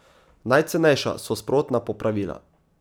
Najcenejša so sprotna popravila.